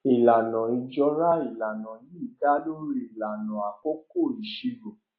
ìlànà ìjọra ìlànà yìí dá lórí ìlànà àkókò ìṣirò